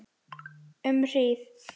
Um hríð.